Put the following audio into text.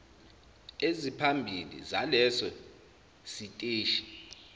eziphambili zaleso siteshi